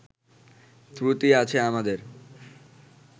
ত্রুটি আছে আমাদের